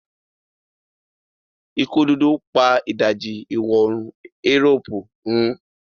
ikú dúdú pa ìdajì iwọ oorun Europe run.